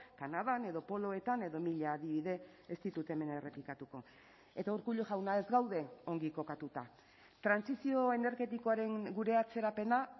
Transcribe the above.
kanadan edo poloetan edo mila adibide ez ditut hemen errepikatuko eta urkullu jauna ez gaude ongi kokatuta trantsizio energetikoaren gure atzerapena